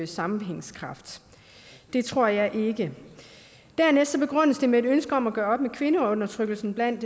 sammenhængskraft det tror jeg ikke dernæst begrundes det med et ønske om at gøre op med kvindeundertrykkelsen blandt